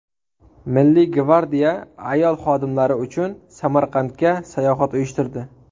Milliy gvardiya ayol xodimlari uchun Samarqandga sayohat uyushtirdi.